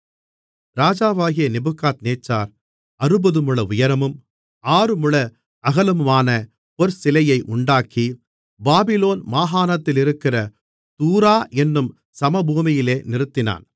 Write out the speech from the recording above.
ராஜாவாகிய நேபுகாத்நேச்சார் அறுபதுமுழ உயரமும் ஆறுமுழ அகலமுமான ஒருபொற்சிலையை உண்டாக்கி பாபிலோன் மாகாணத்திலிருக்கிற தூரா என்னும் சமபூமியிலே நிறுத்தினான்